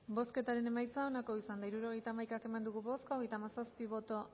bozketaren emaitza onako izan da hirurogeita hamaika eman dugu bozka hogeita hamazazpi boto